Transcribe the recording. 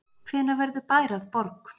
Hvenær verður bær að borg?